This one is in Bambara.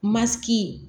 Masigi